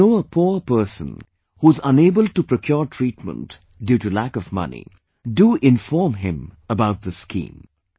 If you know a poor person who is unable to procure treatment due to lack of money, do inform him about this scheme